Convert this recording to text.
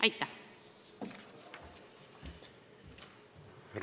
Aitäh!